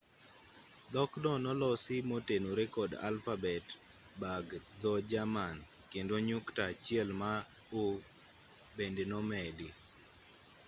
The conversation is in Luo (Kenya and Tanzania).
dhokno nolosi motenore kod alfabet bag dho-jerman kendo nyukta achiel ma õ/õ” bende nomedi